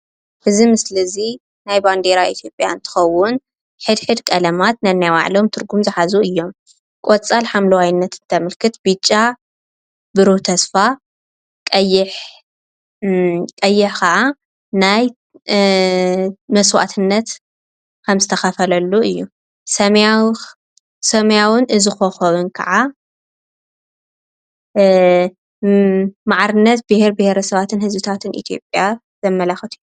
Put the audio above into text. እዚ ምስሊ እዚ ናይ ባንዴራ አትዩጰያ እንትኸውን ሕድሕድ ቀለማት ነናይ በዓሎም ትርጉም ዝሓዙ እዩም። ቆፃል ሓምለዋይነት ተምልክት ፣ብጫ ቡህሩ ተስፋ፣ ቀይሕ ከዓ ናይ መስዋእትነት ከም ዝትኸፈለሉ እዩ ፣ሰማያዊን እዚ ኮኮብን ካዓ ማዕርነት ብሄረ ብሄረ ሰባትን ህዝብታትን አትዩጰያ ዘማላኽት እዩ።